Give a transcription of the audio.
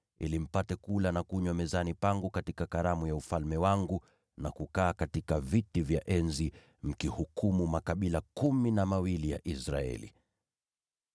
ili mpate kula na kunywa mezani pangu katika karamu ya ufalme wangu, na kukaa katika viti vya enzi, mkihukumu makabila kumi na mawili ya Israeli.”